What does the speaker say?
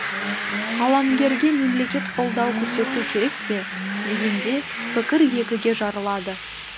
қаламгерге мемлекет қолдау көрсету керек пе дегенде пікір екіге жарылады